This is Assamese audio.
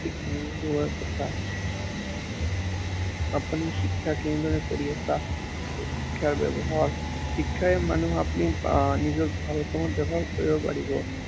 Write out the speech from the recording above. ঠিক তেনেকুৱা কথা। আপুনি শিক্ষা কেনেদৰে কৰি আছা, এই শিক্ষা ব্য়ৱস্থা, শিক্ষাই মানুহক আপুনি আহ নিজৰ ভাল কামত ব্য়ৱহাৰ কৰিব পাৰিব